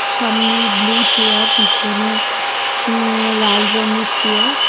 সামনে blue chair পিছনে উম লাল রঙের চেয়ার --